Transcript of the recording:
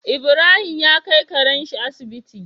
Ibrahim ya kai Karen shi Asibiti